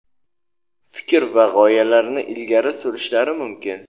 fikr va g‘oyalarini ilgari surishlari mumkin.